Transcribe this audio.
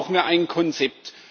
Dafür brauchen wir ein Konzept.